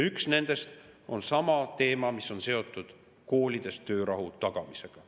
Üks nendest on sama teema, mis on seotud koolides töörahu tagamisega.